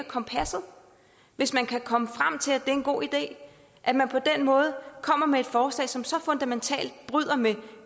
kompasset hvis man kan komme frem til at det en god idé at man på den måde kommer med et forslag som så fundamentalt bryder med